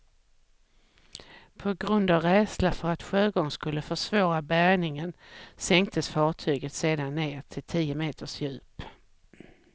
På grund av rädsla för att sjögång skulle försvåra bärgningen sänktes fartyget sedan ned till tio meters djup.